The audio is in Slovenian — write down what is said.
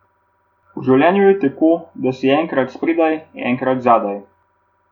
V življenju je tako, da si enkrat spredaj, enkrat zadaj.